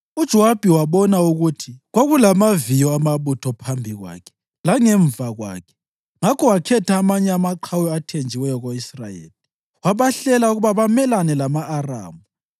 UJowabi wabona ukuthi kwakulamaviyo amabutho phambi kwakhe langemva kwakhe, ngakho wakhetha amanye amaqhawe athenjiweyo ko-Israyeli wabahlela ukuba bamelane lama-Aramu.